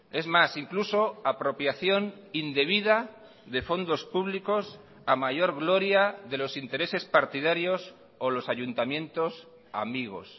es más incluso apropiación indebida de fondos públicos a mayor gloria de los intereses partidarios o los ayuntamientos amigos